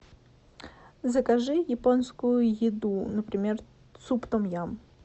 закажи японскую еду например суп том ям